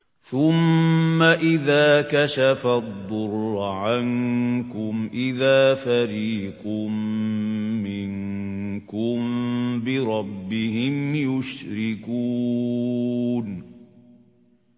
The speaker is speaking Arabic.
ثُمَّ إِذَا كَشَفَ الضُّرَّ عَنكُمْ إِذَا فَرِيقٌ مِّنكُم بِرَبِّهِمْ يُشْرِكُونَ